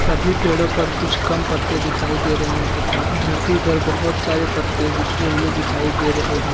अभी पेड़ों पर कुछ कम पत्ते दिखाई दे रहे हैं तथा धरती पर बहोत सारे पत्ते बिखरे हुए दिखाई दे रहे हैं।